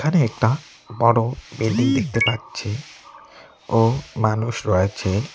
এখানে একটা বড়ো বিল্ডিং দেখতে পাচ্ছি ও মানুষ রয়েছে।